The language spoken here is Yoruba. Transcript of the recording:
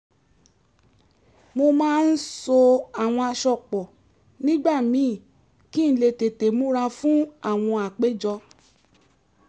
mo máa ń so àwọn aṣọ pọ̀ nígbà míì kí n lè tètè múra fún àwọn àpéjọ